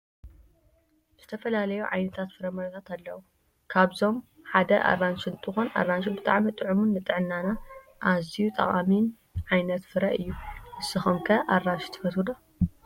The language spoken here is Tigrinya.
ዝትፈላለዩ ዓይነት ፍረምረታት አለው ካብዞም ሓደ አራንሽ እንተኮን አራንሽ ብጣዕሚ ጥዕሙን ንጥዕናና አዚዩ ጠቃሚ ዓይነት ፈረ እዩ። ንስኩም ከ አራንሽ ተፈትዎ ዶ?